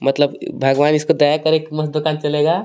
मतलब इअ भगवान इसको दया करे की मस्त दुकान चलेगा.